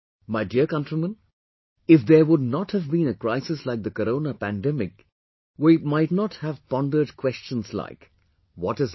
My dear countrymen, if there would not have been a crisis like the Corona pandemic we mightn't have pondered questions like, What is life